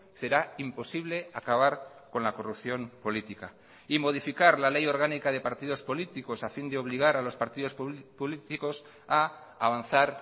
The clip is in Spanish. será imposible acabar con la corrupción política y modificar la ley orgánica de partidos políticos a fin de obligar a los partidos políticos a avanzar